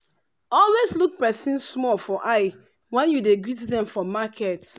always look persin small for eye when you dey greet dem for market.